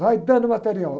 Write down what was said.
Vai dando material.